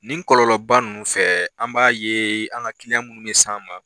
Nin kɔlɔlɔba nunnu fɛ an b'a ye an ka kiliyan munnu bɛ se an ma.